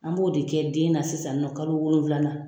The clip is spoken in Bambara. An m'o de kɛ den na sisan nɔn kalo wolonwula na